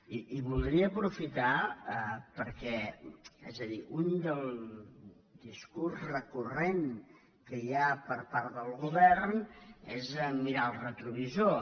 i voldria aprofitar·ho per·què és a dir un discurs recurrent que hi ha per part del govern és mirar el retrovisor